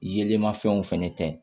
Yelenmafɛnw fɛnɛ ta